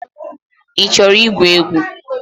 I chọrọ igwu egwu?